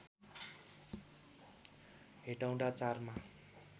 हेटौँडा ४ मा